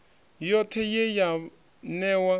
yothe ye ye ya newa